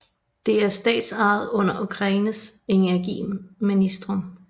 Det er statsejet under Ukraines energiministerium